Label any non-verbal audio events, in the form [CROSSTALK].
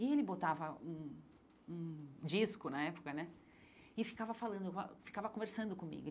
E ele botava um um disco, na época né, e ficava falando [UNINTELLIGIBLE] ficava conversando comigo.